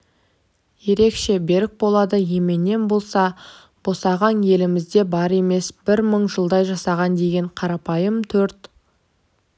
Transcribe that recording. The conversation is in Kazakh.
ерекше берік болады еменнен болса босағаң елімізде бар емес бір мың жылдай жасаған деген қарапайым төрт